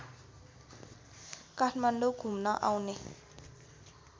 काठमाडौँ घुम्न आउने